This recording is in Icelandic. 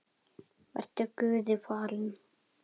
Vertu guði falinn.